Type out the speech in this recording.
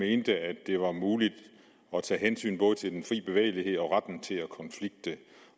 mente at det var muligt at tage hensyn både til den fri bevægelighed og til retten til at konflikte